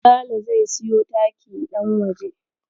Sale zai siyo taki ɗan waje.